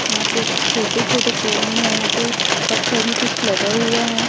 यहां पे छोटे छोटे पेड़ है यहां पे पत्थर में कुछ लगा हुआ है।